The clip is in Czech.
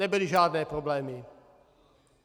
Nebyly žádné problémy.